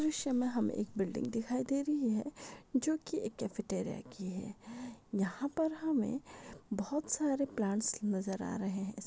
ईस दृश्य मे हमे एक बिल्डिंग दिखाई दे रही है जो की एक कैफै टेरिया की है यहा पर हमे बहुत सारे प्लांट्स नजर आ रहे है।